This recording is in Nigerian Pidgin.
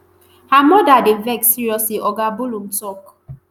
her mother dey vex seriously" oga bullum tok.